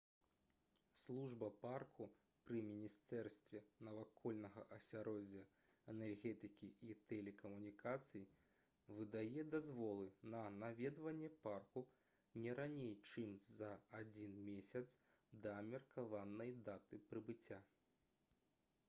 служба парку пры міністэрстве навакольнага асяроддзя энергетыкі і тэлекамунікацый выдае дазволы на наведванне парку не раней чым за адзін месяц да меркаванай даты прыбыцця